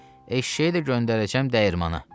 Eşşəyi də göndərəcəm dəyirmana.